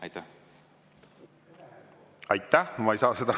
Aitäh!